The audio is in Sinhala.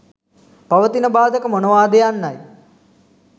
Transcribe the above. පවතින බාධක මොනවාද යන්නයි.